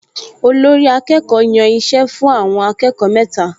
Olórí-akẹ́kọ̀ọ́ yàn iṣẹ́ fún àwọn akẹ́kọ̀ọ mẹ́ta